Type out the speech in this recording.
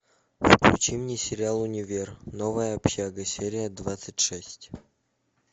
включи мне сериал универ новая общага серия двадцать шесть